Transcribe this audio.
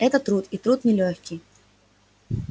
это труд и труд нелёгкий